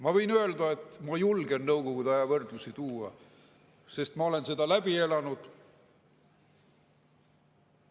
Ma võin öelda, et ma julgen Nõukogude ajast võrdlusi tuua, sest ma olen selle läbi elanud.